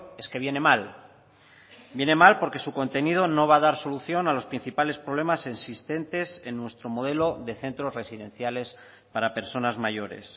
es que viene mal viene mal porque su contenido no va a dar solución a los principales problemas existentes en nuestro modelo de centros residenciales para personas mayores